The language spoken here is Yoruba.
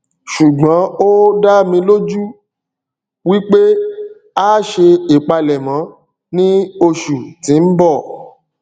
ṣùgbón ó dá mi lójú wípé a ṣe ìpalẹmọ ní oṣù tí ń bọ